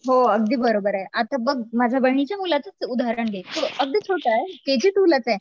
हो अगदी बरोबर आहे आता बघ माझ्या बहिणीच्या मुलाचंच उदाहरण घे तो अगदी छोटा आहे के जी टू लाच आहे.